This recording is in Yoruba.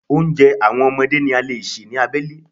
Oúnjẹ àwọn ọmọdé ni a lè ṣe ní abẹ́lé.